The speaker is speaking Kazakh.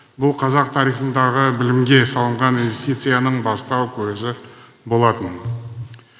бұл қазақ тарихындағы білімге салынған инвестицияның бастау көзі болатын